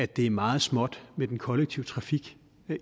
det er meget småt med den kollektive trafik